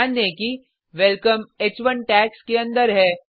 ध्यान दें कि वेलकम ह1 टैग्स के अंदर है